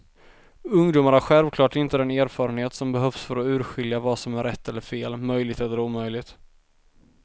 Ungdomar har självklart inte den erfarenhet som behövs för att urskilja vad som är rätt eller fel, möjligt eller omöjligt.